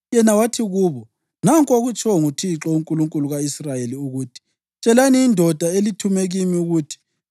Yena wathi kubo: “Nanku okutshiwo nguThixo, uNkulunkulu ka-Israyeli ukuthi, tshelani indoda elithume kimi ukuthi,